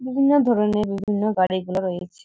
বিভিন্ন ধরণে বিভিন্ন গাড়ি গুলো রয়েছে।